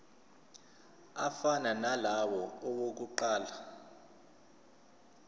afana nalawo awokuqala